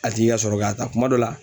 A tigi ka sɔrɔ k'a ta kuma dɔ la